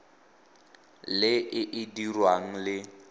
le e e dirwang le